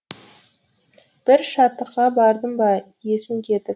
бір шаттыққа бардың ба есің кетіп